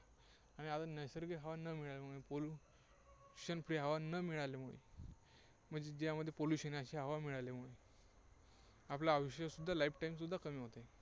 आणि आता नैसर्गिक हवा न मिळाल्यामुळे, pollution free हवा न मिळाल्यामुळे, म्हणजे ज्यामध्ये pollution आहे, अशी हवा मिळाल्यामुळे आपलं आयुष्य सुद्धा lifetime सुद्धा कमी होत आहे.